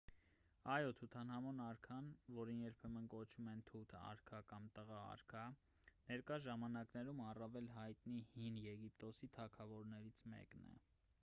այո թութանհամոն արքան որին երբեմն կոչում են թութ արքա կամ տղա արքա ներկա ժամանակներում առավել հայտնի հին եգիպտոսի թագավորներից մեկն է